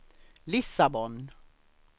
Lissabon